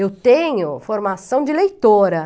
Eu tenho formação de leitora.